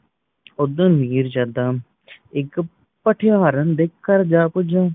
ਓਧਰ ਮਿਰਜਦਾ ਇੱਕ ਪੱਠੇਹਾਰਨ ਦੇ ਘਰ ਜਾ ਪੂਜਿਆ